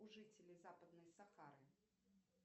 у жителей западной сахары